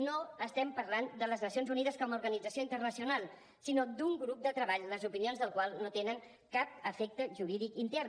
no estem parlant de les nacions unides com a organització internacional sinó d’un grup de treball les opinions del qual no tenen cap efecte jurídic intern